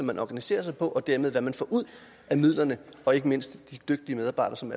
man organiserer sig på og dermed hvad man får ud af midlerne og ikke mindst de dygtige medarbejdere som